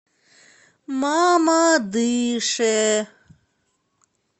мамадыше